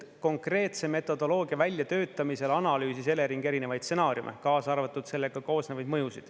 Konkreetse metodoloogia väljatöötamisel analüüsis Elering erinevaid stsenaariume, kaasa arvatud sellega kaasnevaid mõjusid.